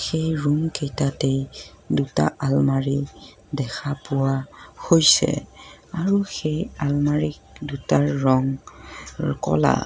সেই ৰুম কেইটাতেই দুটা আলমাৰি দেখা পোৱা হৈছে আৰু সেই আলমাৰি দুটাৰ ৰং ৰ ক'লা।